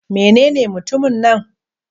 Menene mutumin nan?